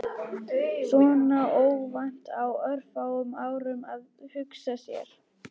. svona óvænt, á örfáum árum- að hugsa sér.